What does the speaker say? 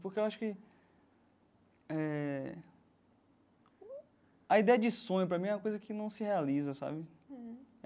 Porque eu acho que eh... A ideia de sonho, para mim, é uma coisa que não se realiza, sabe?